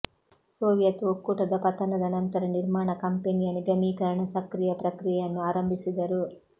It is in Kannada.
ಸೋವಿಯತ್ ಒಕ್ಕೂಟದ ಪತನದ ನಂತರ ನಿರ್ಮಾಣ ಕಂಪನಿಯ ನಿಗಮೀಕರಣ ಸಕ್ರಿಯ ಪ್ರಕ್ರಿಯೆಯನ್ನು ಆರಂಭಿಸಿದರು